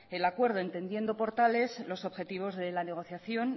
el acuerdo entendiendo por tales los objetivos de la negociación